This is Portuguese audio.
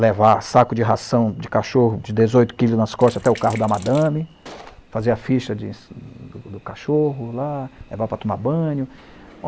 levar saco de ração de cachorro de dezoito quilos nas costas até o carro da madame, fazer a ficha do do cachorro lá, levar para tomar banho.